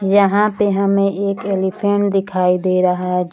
यहाँ पे हमें एक ऐलीफेंट दिखाई दे रहा है।